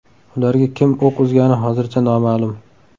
Ularga kim o‘q uzgani hozircha noma’lum.